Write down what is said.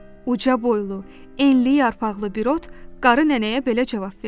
Uca boylu, enli yarpaqlı bir ot qarı nənəyə belə cavab verdi: